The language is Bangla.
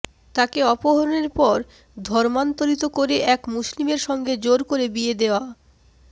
তাকে অপহরণের পর ধর্মান্তরিত করে এক মুসলিমের সঙ্গে জোর করে বিয়েও দেওয়া